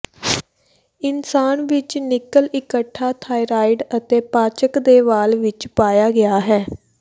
ਇਨਸਾਨ ਵਿੱਚ ਨਿੱਕਲ ਇਕੱਠਾ ਥਾਇਰਾਇਡ ਅਤੇ ਪਾਚਕ ਦੇ ਵਾਲ ਵਿੱਚ ਪਾਇਆ ਗਿਆ ਹੈ